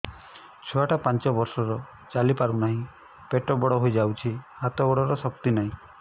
ଛୁଆଟା ପାଞ୍ଚ ବର୍ଷର ଚାଲି ପାରୁନାହଁ ପେଟ ବଡ ହୋଇ ଯାଉଛି ହାତ ଗୋଡ଼ର ଶକ୍ତି ନାହିଁ